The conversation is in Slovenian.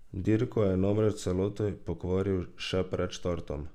Dirko je namreč v celoti pokvaril še pred startom.